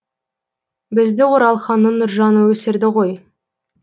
бізді оралханның нұржаны өсірді ғой